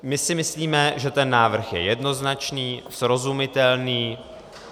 My si myslíme, že ten návrh je jednoznačný, srozumitelný.